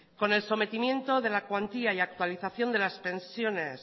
con el sometimiento de la cuantía y actualización de las pensiones